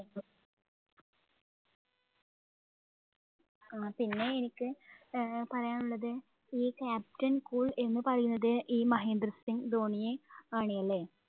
ആ പിന്നെ എനിക്ക് അഹ് പറയാനുള്ളത് ഈ captain cool എന്ന് പറയുന്നത് ഈ മഹേന്ദ്ര സിംഗ് ധോണിയെ ആണ് അല്ലേ?